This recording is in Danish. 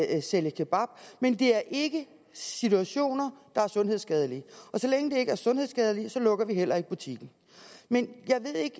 at sælge kebab men det er ikke situationer der er sundhedsskadelige og så længe det ikke er sundhedsskadeligt lukker vi heller ikke butikken men jeg ved ikke